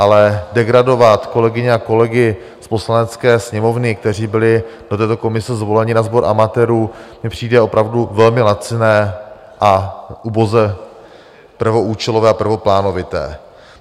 Ale degradovat kolegyně a kolegy z Poslanecké sněmovny, kteří byli do této komisi zvoleni, na sbor amatérů, mi přijde opravdu velmi laciné a uboze prvoúčelové a prvoplánovité.